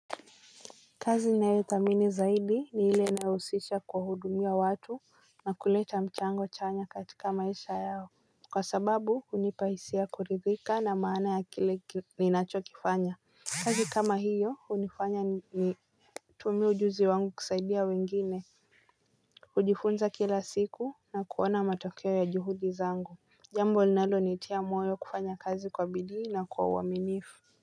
Kazi ninayodhamini sana ni ile inayo uhusisha kuwaudumia watu na kuleta mjango chanya katika maisha yao kwa sababu unipa hisia kuridhika na maana yakile kitu ninachopo kifanya, kazi kama hiyo inanisaidia kutumia ujuzi wangu kuwasaidia wengine. Ujifunza kila siku na kuona matokeo ya juhudi zangu jambo linalo nitia moyo kufanya kazi kwa bidii na kwa uaminifu.